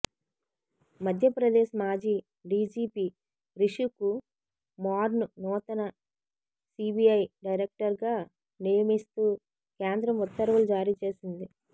మధ్యప్రదేశ్ మాజీ డిజిపి రిషికు మార్ను నూతన సిబిఐ డైరెక్టర్గా నియ మిస్తూ కేంద్రం ఉత్తర్వులు జారీ చేసింది